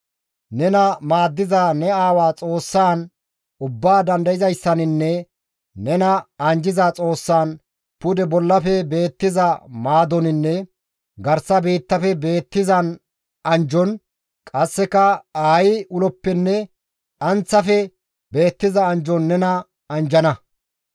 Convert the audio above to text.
Nena maaddiza ne aawa Xoossan Ubbaa Dandayzayssaninne nena anjjiza Xoossan pude bollafe beettiza maadoninne garsa biittafe beettizan anjjon qasseka aayi uloppenne dhanththafe beettiza anjjon nena anjjana.